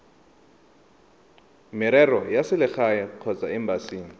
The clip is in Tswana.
merero ya selegae kgotsa embasing